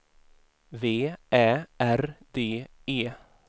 V Ä R D E